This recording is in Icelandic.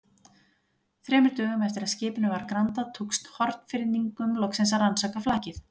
Þremur dögum eftir að skipinu var grandað, tókst Hornfirðingum loks að rannsaka flakið.